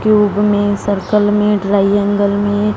cube में circle में triangle में--